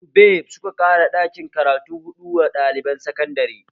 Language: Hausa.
SUBEB suka ƙara ɗakin karatu huɗu wa ɗaliban sakandare